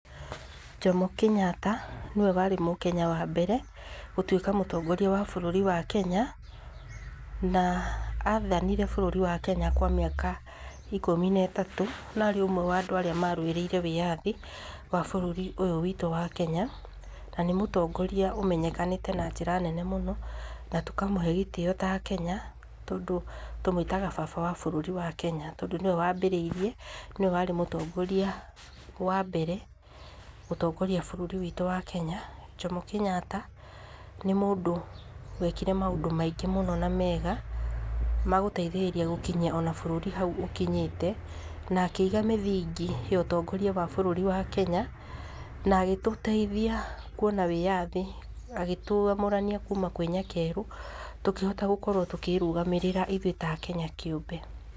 Jomo Kenyatta nĩwe warĩ mũkenya wa mbere gũtũĩka mũtongorĩa wa bũrũri wa Kenya na athanĩre bũrũri wa Kenya kwa mĩaka ikũmi na ĩtatũ na ari ũmwe wa andũ arĩa ma rũĩrire wĩyathĩ wa bũrũri ũyũ wĩtũ wa Kenya na nĩ mũtongorĩa ũmenyekanĩte na njĩra nene mũno, na tũkamũhe gĩtĩo ta akenya, tũmũĩta baba wa bũrũri wa Kenya tondũ nĩwe wabĩrĩrĩe niwe warĩ mũtongorĩ wa mbere gũtongoria bũrũri wĩtũ wa Kenya. Jomo Kenyatta nĩ mũndũ wekĩre maũndũ maingĩ mũno na mega magũteĩthirĩrĩa bũrũri ona haũ ũkĩnyĩte na akĩga mithĩngĩ ya ũtongorĩa wa bũrũri wa Kenya na agĩtũteĩthĩa kũona wĩyathĩ agĩtũamũranĩa kũma kwĩ nyakerũ tũkĩhota gũkorwo tũkĩrũgamĩrĩra ĩthũe ta akenya kĩũmbe.